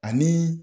Ani